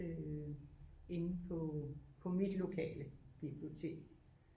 Inde på på mit lokale bibliotek